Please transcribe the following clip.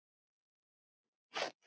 Þeir eru nú farnir þaðan.